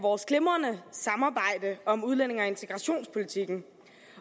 vores glimrende samarbejde om udlændinge og integrationspolitikken